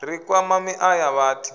ri kwama miṱa ya vhathi